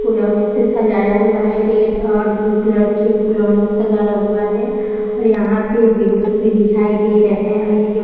फुलौना से सजाया हुआ है रेड और ब्लू कलर की फुलौना सजाया हुआ है और यहाँ पे विंडोज भी दिखाई दे रहे हैं और ये जो --